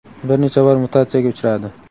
bir necha bor mutatsiyaga uchradi.